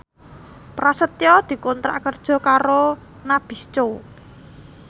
Prasetyo dikontrak kerja karo Nabisco